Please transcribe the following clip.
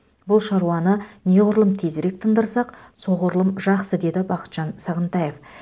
бұл шаруаны неғұрлым тезірек тындырсақ соғұрлым жақсы деді бақытжан сағынтаев